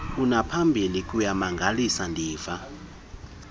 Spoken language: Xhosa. kunangaphambili kuyamangalisa ndiva